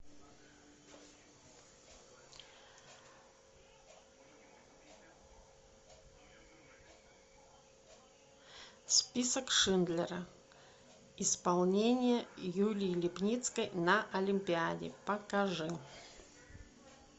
список шиндлера исполнение юлии липницкой на олимпиаде покажи